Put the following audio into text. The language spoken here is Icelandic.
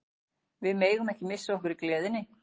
Við megum ekki missa okkur í gleðinni.